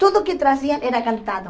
Tudo que traziam era cantado.